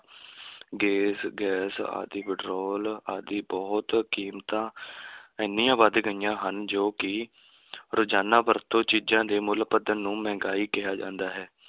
ਗੇਸ gas ਆਦਿ petrol ਆਦਿ ਬਹੁਤ ਕੀਮਤਾਂ ਐਨੀਆਂ ਵੱਧ ਗਈਆਂ ਹਨ ਜੋ ਕਿ ਰੋਜ਼ਾਨਾ ਵਰਤੋਂ ਚੀਜ਼ਾਂ ਦੇ ਮੁੱਲ ਵਧਣ ਨੂੰ ਮਹਿੰਗਾਈ ਕਿਹਾ ਜਾਂਦਾ ਹੈ।